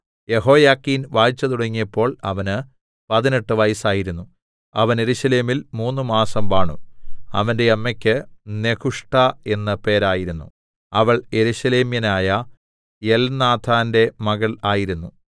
യെഹോയാഖീൻ വാഴ്ച തുടങ്ങിയപ്പോൾ അവന് പതിനെട്ട് വയസ്സായിരുന്നു അവൻ യെരൂശലേമിൽ മൂന്നുമാസം വാണു അവന്റെ അമ്മക്ക് നെഹുഷ്ഠാ എന്ന് പേരായിരുന്നു അവൾ യെരൂശലേമ്യനായ എൽനാഥാന്റെ മകൾ ആയിരുന്നു